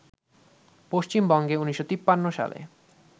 পশ্চিমবঙ্গে ১৯৫৩ সালে